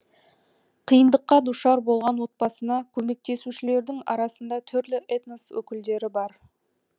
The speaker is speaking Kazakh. қиындыққа душар болған отбасына көмектесушілердің арасында түрлі этнос өкілдері бар